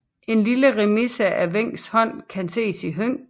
En lille remise af Wencks hånd kan ses i Høng